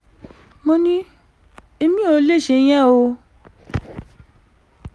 mo ní èmi ò lè ṣèyẹn o